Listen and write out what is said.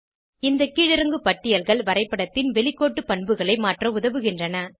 இந்த கீழிறங்கு பட்டியல்கள் வரைப்படத்தின் வெளிக்கோட்டு பண்புகளை மாற்ற உதவுகின்றன